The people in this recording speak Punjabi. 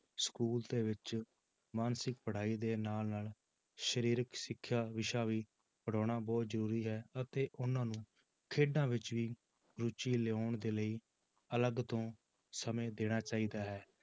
School ਦੇ ਵਿਚ ਮਾਨਸਿਕ ਪੜ੍ਹਾਈ ਦੇ ਨਾਲ ਨਾਲ ਸਰੀਰਕ ਸਿੱਖਿਆ ਵਿਸ਼ਾ ਵੀ ਪੜ੍ਹਾਉਣਾ ਵੀ ਬਹੁਤ ਜ਼ਰੂਰੀ ਹੈ ਅਤੇ ਉਹਨਾਂ ਨੂੰ ਖੇਡਾਂ ਵਿੱਚ ਵੀ ਰੁੱਚੀ ਲਿਆਉਣ ਦੇ ਲਈ ਅਲੱਗ ਤੋਂ ਸਮੇਂ ਦੇਣਾ ਚਾਹੀਦਾ ਹੈ